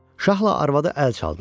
Şahla arvadı əl çaldılar.